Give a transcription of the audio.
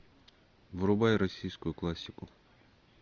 врубай российскую классику